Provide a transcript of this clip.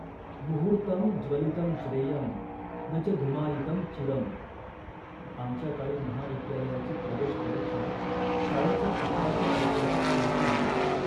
मुहूर्तम् ज्वलितम् श्रेयम्। न च धूमायितम् चिरम् ॥. आमच्या काळी महाविद्यालयाची प्रवेशपरीक्षा शाळेच्या अकराव्या वर्षाच्या शेवटी होई